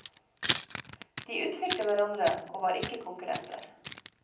De utfylte hverandre, og var ikke konkurrenter.